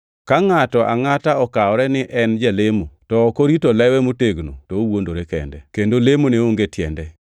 Ka ngʼato angʼata okawore ni en jalemo, to ok orito lewe motegno to owuondore kende, kendo lemone onge tiende.